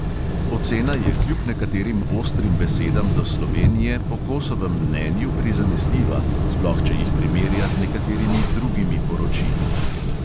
Ocena je kljub nekaterim ostrim besedam do slovenije po kosovem mnenju prizanesljiva, sploh če jih primerja z nekaterimi drugimi poročili.